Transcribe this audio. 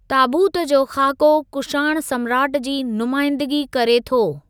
ताबूत जो खाको कुषाण सम्राट जी नुमाइंदिगी करे थो ।